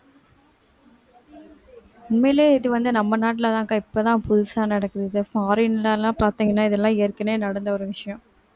உண்மையிலேயே இது வந்து நம்ம நாட்டுலதான்க்கா இப்பதான் புதுசா நடக்குது இத foreign ல எல்லாம் பாத்தீங்கன்னா இதெல்லாம் ஏற்கனவே நடந்த ஒரு விஷயம்